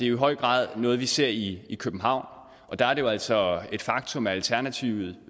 i høj grad noget vi ser i københavn og det er jo altså et faktum at alternativet